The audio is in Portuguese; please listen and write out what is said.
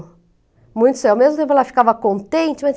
ela ficava contente.